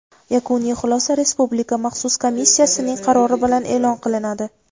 Yakuniy xulosa Respublika maxsus komissiyasining qarori bilan eʼlon qilinadi.